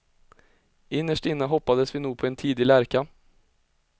Innerst inne hoppades vi nog på en tidig lärka.